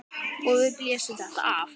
Og við blésum þetta af.